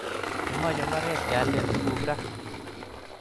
Kimache mbaret keyalden tuguk raa